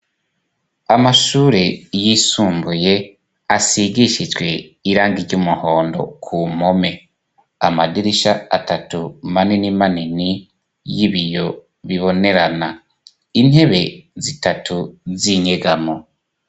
Amashure yisumbuye asigishijwe irangi ry'umuhondo ku mpome, amadirisha atatu manini manini y'ibiyo bibonerana, intebe zitatu z'inyegamo.